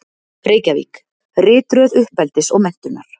Reykjavík: Ritröð uppeldis og menntunar.